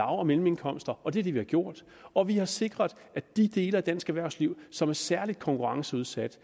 og mellemindkomster og det er det vi har gjort og vi har sikret at de dele af dansk erhvervsliv som er særlig konkurrenceudsat